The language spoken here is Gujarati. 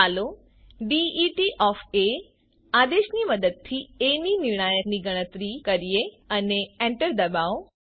ચાલો ડેટ આદેશની મદદથી એ ની નિર્ણાયકની ગણતરી કરીએ અને એન્ટર ડબાઓ